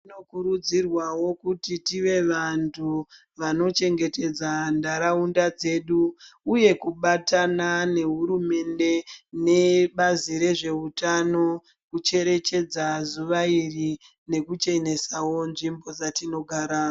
Zvinokurudzirwawo kuti tive vantu vanochengetedza nharaunda dzedu uye kubatana nehurumende nebazi rezveutano kucherechedza zuva iri nekuchenesawo nzvimbo dzatinogara.